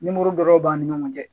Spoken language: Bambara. Nimoro dɔrɔn b'an ni ɲɔgɔn cɛ